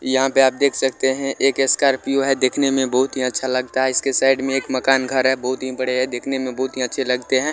यहाँ पे आप देख सकते है एक स्कॉर्पियो है देखने में बहुत ही अच्छा लगता है इसके साइड में एक मकान घर है बहुत ही बड़े है देखने में बहुत ही अच्छे लगते है।